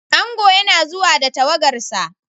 Ango yana zuwa da tawagarsa.